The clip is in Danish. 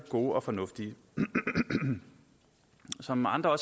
gode og fornuftige som andre